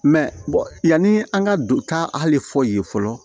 Mɛ yanni an ka don taa hali fɔ yen fɔlɔ